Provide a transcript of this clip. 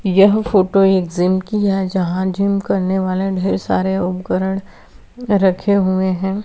यह फोटो एक ज़िम की हैं यहाँ जीम करने वाले ढेर सारे उपकरण रखे हुए हैं।